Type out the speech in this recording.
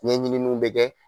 Ɲɛɲininiw bɛ kɛ